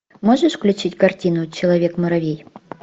можешь включить картину человек муравей